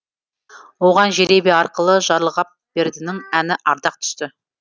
оған жеребе арқылы жарылғапбердінің әні ардақ түсті